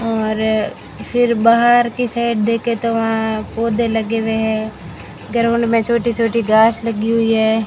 और फिर बाहर की साइड देखें तो वहां पौधे लगे हुए है ग्राउंड में छोटी-छोटी घास लगी हुई है।